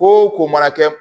Ko o ko mana kɛ